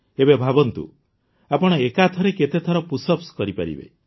ଏବେ ଭାବନ୍ତୁ ଆପଣ ଏକାଥରେ କେତେଥର ପୁଶ୍ଅପ୍ସ କରିପାରିବେ